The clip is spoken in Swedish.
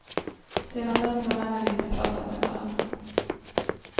Sedan dess har männen inte pratat med varandra.